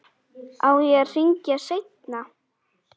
Á ég að hringja seinna?